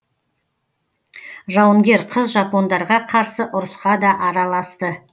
жауынгер қыз жапондарға қарсы ұрысқа да араласты